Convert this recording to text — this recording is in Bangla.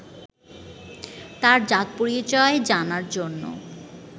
তাঁর জাত-পরিচয় জানার জন্য